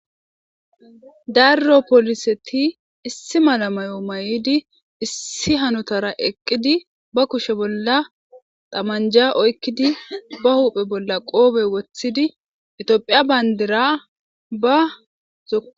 darro poliseti issi mala mayo may7idi issi hanotara eqqidi ba kushe bolla tamanja oykkidi ba huphe bolla qoobe woththidi etiophiya bayndira ba z